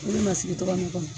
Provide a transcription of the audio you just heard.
Olu masigi tɔgɔ nin kɔnɔ